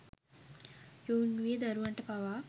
යොවුන් වියේ දරුවන්ට පවා